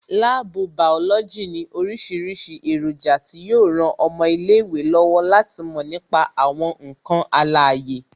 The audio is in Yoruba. Láàbù bàọ́lọ́jì ní orísìírísìí èròjà tí yo ran ọmọ ilé ìwé lọ́wọ́ láti mò nípa àwọn ǹkan alàyè